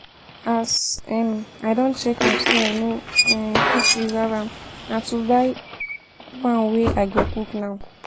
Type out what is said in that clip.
As um I don check am say i no um fit preserve am, na to buy um one wey I go cook now.